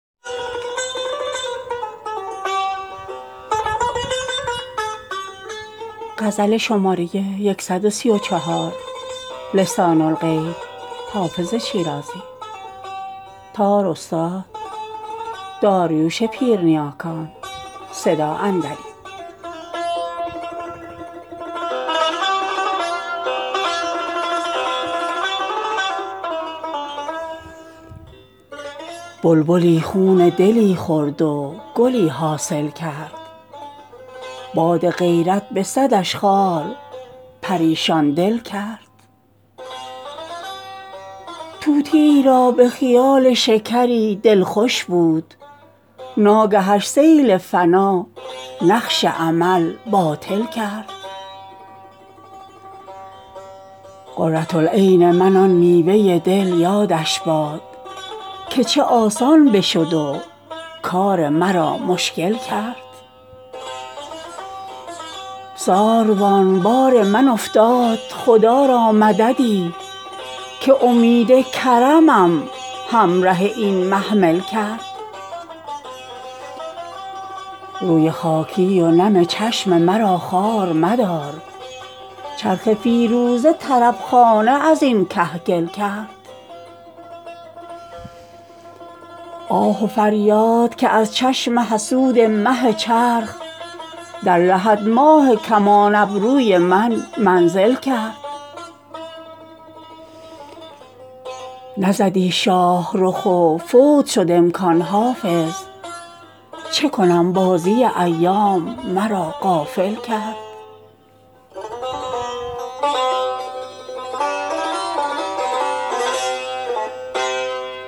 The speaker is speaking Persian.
بلبلی خون دلی خورد و گلی حاصل کرد باد غیرت به صدش خار پریشان دل کرد طوطیی را به خیال شکری دل خوش بود ناگهش سیل فنا نقش امل باطل کرد قرة العین من آن میوه دل یادش باد که چه آسان بشد و کار مرا مشکل کرد ساروان بار من افتاد خدا را مددی که امید کرمم همره این محمل کرد روی خاکی و نم چشم مرا خوار مدار چرخ فیروزه طرب خانه از این کهگل کرد آه و فریاد که از چشم حسود مه چرخ در لحد ماه کمان ابروی من منزل کرد نزدی شاه رخ و فوت شد امکان حافظ چه کنم بازی ایام مرا غافل کرد